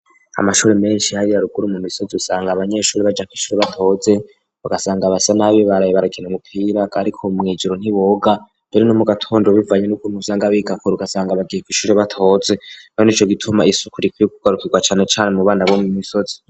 Amashure menshi hariya ruguru mu misozi usanga abanyeshure baja kw' ishure batoze, ugasanga basa nabi baraye barakina umupira ariko mw'ijiro ntiboga, rero no mu gatondo bivanye n'ukuntu usanga biga kure ugasanga bagiye kw'ishure batoze rero nico gituma isuku rikwiye kugarukirwa cane cane mu bana bo mu misozi.